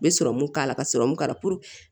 N bɛ serɔmu k'a la ka sɔrɔmu k'a la